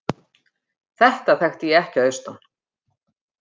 Þetta þekkti ég ekki að austan.